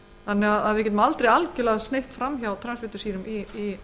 þannig að við getum ekki sneitt algjörlega fram hjá transfitusýrum í